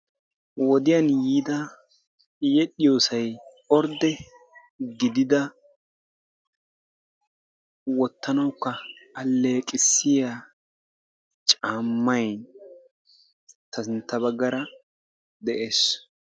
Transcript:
wodiya yiida yedhiyoosay orde gidida wotanawukka aleeqissiya camay ta sintta bagaara dees.